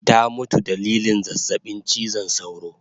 Ta mutu dalilin zazzabin chizon sauro